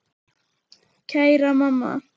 Kæra mamma.